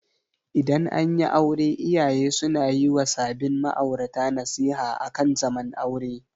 Idan anyi aure iyaye suna yi wa sabin ma'aurata nasiha akan zaman aure.